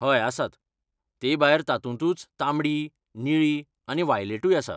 हय, आसात, तेभायर तातुंतूच तांबडी, निळी आनी वायलेटूय आसा.